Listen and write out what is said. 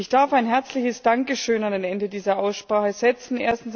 Ich darf ein herzliches Dankeschön an das Ende dieser Aussprache setzen.